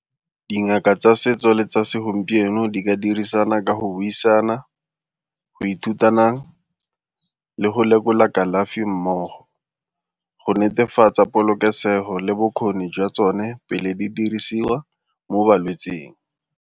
Dingaka tsa setso le tsa segompieno di ka dirisana ka go buisana, go ithutanang le go lekola kalafi mmogo go netefatsa polokesego le bokgoni jwa tsone pele di dirisiwa mo balwetsing.